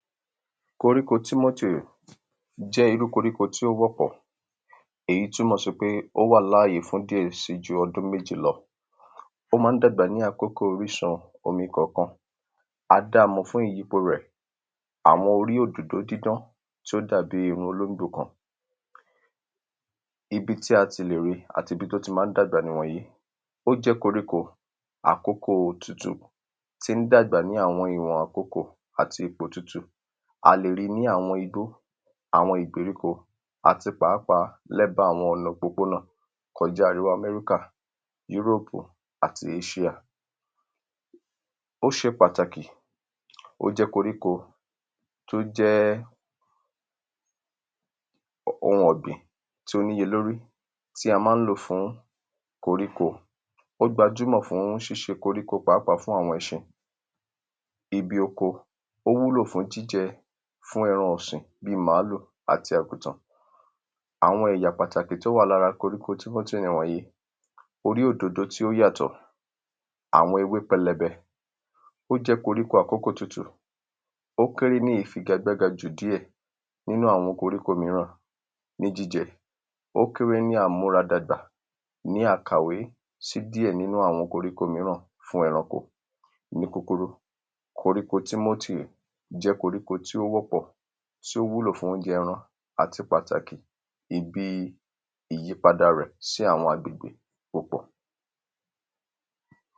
Koríko tí jẹ́ irúu koríko tí ó wọ́pọ̀ èyí túmọ̀ sí pé ó wà láàyè fún jú ọdún méjì lọ Ó ma ń dàgbà ní àkókò orísun omi kọ̀ọ̀kan A damọ̀ fún ìyípo rẹ̀ àwọn orí òdòdó dídán tí ó dàbí irun olóńgbò kan Ibi tí a ti lè ri àti ibi tí o ti ma ń dàgbà nìwọ̀nyìí Ó jẹ́ koríko àkókó otútù tí ń dàgbà ní àwọn iwọn àkókò àti ipò tútù A lè rí ní àwọn igbó àwọn ìgbèríko àti pàápàá ní ẹ̀bá àwọn ọ̀nà pópónà kọjá irú America Europe àti Asia Ó ṣe pàtàkì ó jẹ́ koríko tí o jẹ́ oun ọ̀gbìn tí ó ní iye ní orí tí a ma ń lò fún koríko Ó gbajúmọ̀ fún ṣíṣe koríko pàápàá fún àwọn ẹṣin ibi oko Ó wúlò fún jíjẹ fún ẹran ọ̀sìn bíi màlúù àti àgùtàn Àwọn èyà pàtàkì tí o wa ni ara koríko nìwọ̀nyìí Orí òdòdó tí ó yàtọ̀ Àwọn ewé pẹlẹbẹ Ó jẹ́ koríko àkókò tútù Ó kéré ní ìfigagbága jù díẹ̀ nínú àwọn koríko míràn ní jíjẹ Ó kéré ní àmúra dàgbà ní àkàwé sí díẹ̀ nínú àwọn koríko míràn fún ẹranko Ní kúkurú koríko jẹ́ koríko tí ó wọ́pọ̀ tí ó wúlò fún óunjẹ ẹran àti pàtàkì ibi ìyípada rẹ̀ sí àwọn àgbègbè ó pọ̀